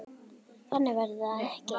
Þannig verður það ekki.